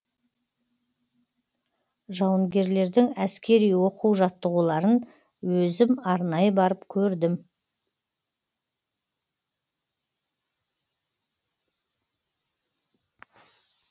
жауынгерлердің әскери оқу жаттығуларын өзім арнайы барып көрдім